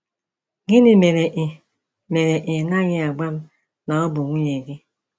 Gịnị mere ị mere ị naghị agwa m na ọ bụ nwunye gị?